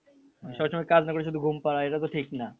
কাজ না করে শুধু ঘুম পারা এটাতো ঠিক না